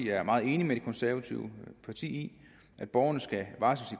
er meget enig med de konservative i at borgerne skal varsles